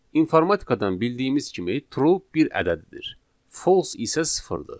İnformatikadan bildiyimiz kimi true bir ədəddir, false isə sıfırdır.